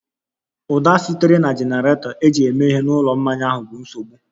Ụda sitere na jenerato eji eme ihe na ụlọ mmanya ahụ bụ nsogbu